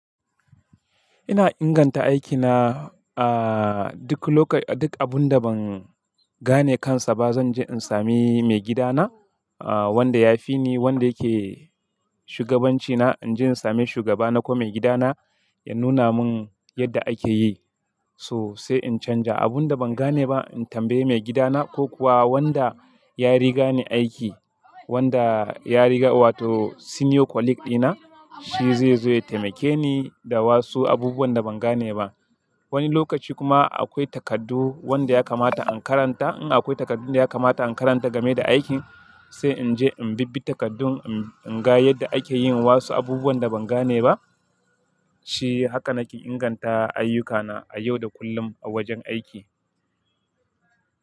Ina inganta aikina, ah, duk lok-- duk abun da ban gane kansa ba, zan je in sami maigidana, ah, wanda ya fi ni, wanda yake shugabancina. In je in sami shugaba na ko maigidana ya nuna mun yadda ake yi, so sai in canja. Abun da ban gane ba, in tambaye maigidana ko kuwa wanda ya riga ni aiki, wanda ya riga wato senior colleague dina, shi zai zo ya taimake ni da wasu abubuwan da ban gane ba. Wani lokaci kuma akwai takardu wanda ya kamata an karanta. In akwai takardun da ya kamata in karanta game da aikin, sai in je in bibbi takardun, in, in ga yadda ake yin wasu abubuwan da ban gane ba. Shi haka nake inganta ayyukana a yau da kullum a wajen aiki.